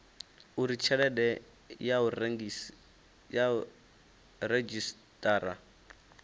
uri tshelede ya u redzhisiṱara